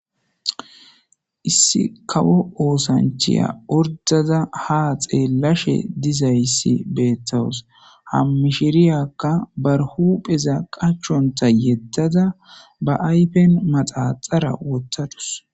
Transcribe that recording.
issi kawo oosanchiya ordada ha xeellashe dizayssi beettawus ha mishiriyakka barhupheza qachonta yeddada ba aypen maxaxara wottadus